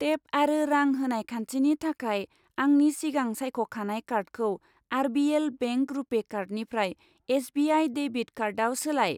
Tape आरो रां होनाय खान्थिनि थाखाय आंनि सिगां सायख'खानाय कार्डखौ आर.बि.एल. बेंक रुपे कार्डनिफ्राय एस.बि.आइ. डेबिट कार्डआव सोलाय।